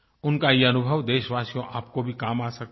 उनका ये अनुभव देशवासियो आपको भी काम आ सकता है